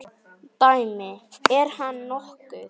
Dæmi: Er hann nokkuð?